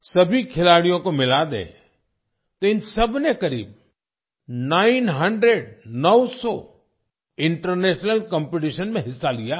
सभी खिलाड़ियों को मिला दें तो इन सबने करीब नाइन हंड्रेड - नौ सौ इंटरनेशनल कॉम्पिटिशन में हिस्सा लिया है